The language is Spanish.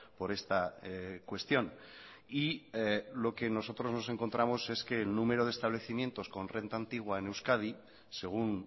por esta cuestión y lo que nosotros nos encontramos es que el número de establecimientos con renta antigua en euskadi según